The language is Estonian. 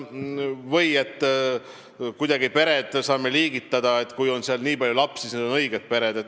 Või et me saame pered kuidagi nii liigitada, et kui peres on teatud arv palju lapsi, siis need on õiged pered.